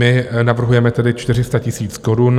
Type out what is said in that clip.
My navrhujeme tedy 400 000 korun.